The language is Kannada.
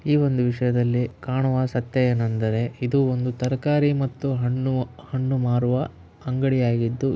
ಈ ಒಂದು ವಿಷಯದಲ್ಲಿ ಕಾಣುವ ಸತ್ಯವೆನೆಂದರೆ ಇದು ಒಂದು ತರಕಾರಿ ಮತ್ತು ಹಣ್ಣು ಮಾರುವ ಅಂಗಡಿಯಾಗಿದ್ದು --